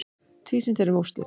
Tvísýnt er um úrslit.